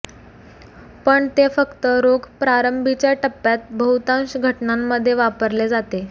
पण ते फक्त रोग प्रारंभीच्या टप्प्यात बहुतांश घटनांमध्ये वापरले जाते